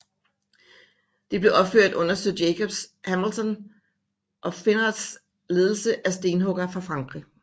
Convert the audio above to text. Det blev opført under sir Jakob Hamilton of Finnarts ledelse af stenhuggere fra Frankrig